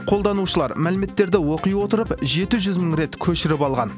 қолданушылар мәліметтерді оқи отырып жеті жүз мың рет көшіріп алған